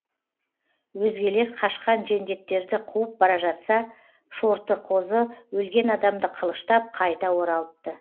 өзгелер қашқан жендеттерді қуып бара жатса шортықозы өлген адамды қылыштап қайта оралыпты